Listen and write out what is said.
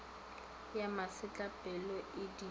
ya masetlapelo t e di